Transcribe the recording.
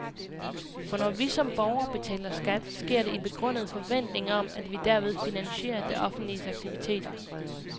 For når vi som borgere betaler skat, sker det i begrundet forventning om, at vi derved finansierer det offentliges aktiviteter.